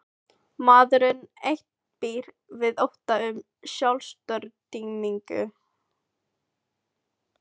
Maðurinn einn býr við ótta um sjálfstortímingu.